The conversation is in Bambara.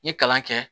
N ye kalan kɛ